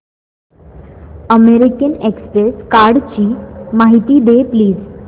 American express कार्डची माहिती दे प्लीज